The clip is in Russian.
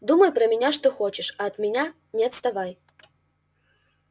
думай про меня что хочешь а от меня не отставай